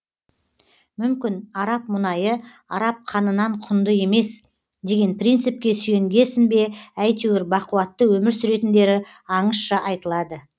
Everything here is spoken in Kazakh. мүмкін араб мұнайы араб қанынан құнды емес деген принципке сүйенгесін бе әйтеуір бақуатты өмір сүретіндері аңызша айтылады